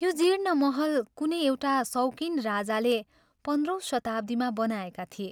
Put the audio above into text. यो जीर्ण महल कुनै एउटा शौकिन राजाले पन्ध्रौं शताब्दीमा बनाएका थिए।